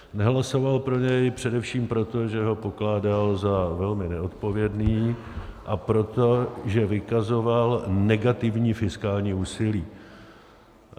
Nehlasoval pro něj především proto, že ho pokládal za velmi neodpovědný, a proto, že vykazoval negativní fiskální úsilí.